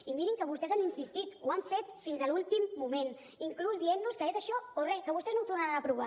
i mirin que vostès han insistit ho han fet fins a l’últim moment inclús dient nos que és això o re que vostès no ho tornaran a provar